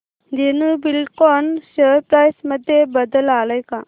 Dhenu Buildcon share price मध्ये बदल आलाय का